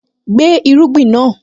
Gbé irúgbìn náà!